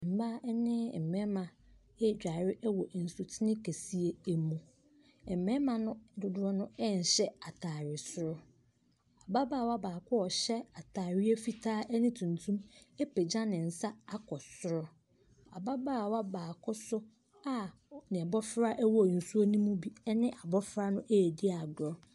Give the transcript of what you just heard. Mmaa ne mmarima ɛredware wɔ nsutene kɛseɛ mu, mmarima no dodoɔ no nhyɛ ataade soro, ababaawa baako a ɔhyɛ ataade fitaa ne tuntum apagya ne nsa akɔ soro. Ababaawa baako so a n’abɔfra wɔ nsuo no me bi ne n’abɔfra no ɛredi agorɔ.